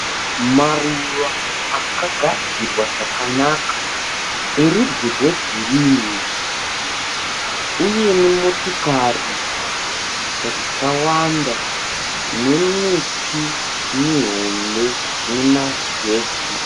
Maruva akagadzirwa zvakanaka anerudzi rwegirinhi. Uyewo motikari dzakawanda nemiti mihombe inemashizha egirinhi.